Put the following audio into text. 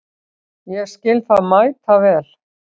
Ég skil það mæta vel.